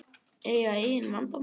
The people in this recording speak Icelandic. Eiga engin leyndarmál.